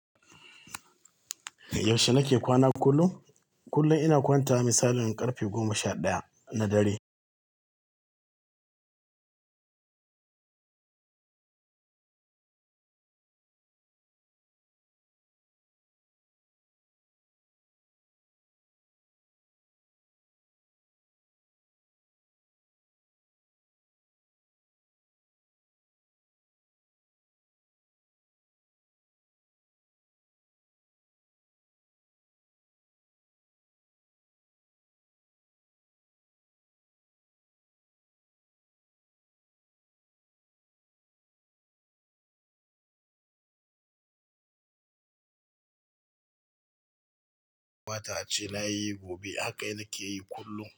Yaushe nake kwana kullum? Kullum ina kwantawa misalin karfe goma sha ɗaya na dare. Kamta ace na yi gobe haka nake yi kullum.